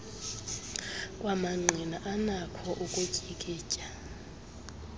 kwamangqina anakho ukutyikitya